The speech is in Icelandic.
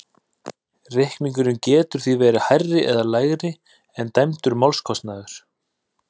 Reikningurinn getur því verið hærri eða lægri en dæmdur málskostnaður.